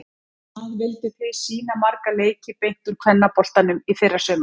Hvað vilduð þið sýna marga leiki beint úr kvennaboltanum í fyrrasumar?